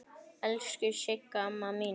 Elsku Sigga amma mín.